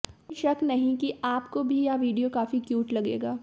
कोई शक नहीं कि आपको भी यह वीडियो काफी क्यूट लगेगा